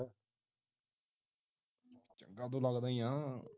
ਚੰਗਾ ਤੂੰ ਲਗਦਾ ਹੀ ਹਾਂ